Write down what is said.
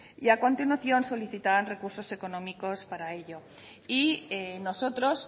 y a continuación solicitaban recursos económicos para ello y nosotros